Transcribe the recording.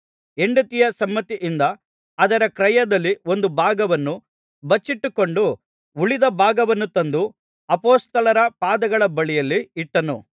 ಹೆಂಡತಿಯ ಸಮ್ಮತಿಯಿಂದ ಅದರ ಕ್ರಯದಲ್ಲಿ ಒಂದು ಭಾಗವನ್ನು ಬಚ್ಚಿಟ್ಟುಕೊಂಡು ಉಳಿದ ಭಾಗವನ್ನು ತಂದು ಅಪೊಸ್ತಲರ ಪಾದಗಳ ಬಳಿಯಲ್ಲಿ ಇಟ್ಟನು